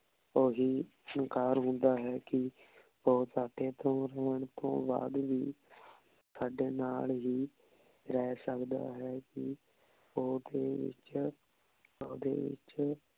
ਓਹੀ ਫ਼ਨਕਾਰ ਹੁੰਦਾ ਹੈ ਕੀ ਊ ਸਾਡੇ ਤੋਂ ਦੂਰ ਰੇਹਾਨ ਤੋਂ ਬਾਦ ਵੀ ਸਾਡੇ ਨਾਲ ਹੀ ਰਹ ਸਕਦਾ ਹੈ ਕੀ ਓਦੇ ਵਿਚ ਓਦੇ ਵਿਚ